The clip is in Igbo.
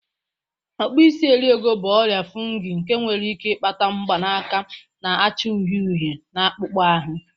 Okpuisi eriego bụ ọrịa fungi nke nwere ike ịkpata mgbanaka na-acha uhie uhie na akpụkpọ ahụ